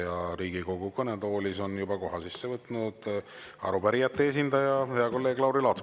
Ja Riigikogu kõnetoolis on juba koha sisse võtnud arupärijate esindaja, hea kolleeg Lauri Laats.